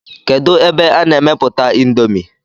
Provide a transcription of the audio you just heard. Kedu ebe a na-emeputa índomi?